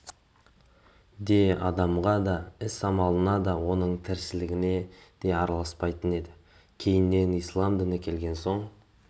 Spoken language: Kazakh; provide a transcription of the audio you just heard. де адамға да іс-амалына да оның тіршілігіне де араласпайтын еді кейіннен ислам діні келген соң